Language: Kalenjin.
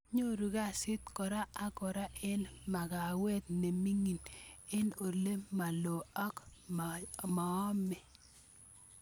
Nyoru kasit kora ak kora en makawet ne mingin en ole maloo ako maoome